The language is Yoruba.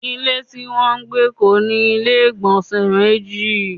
Ilé tí wọn ń gbé kò ní ilé igbonse méjì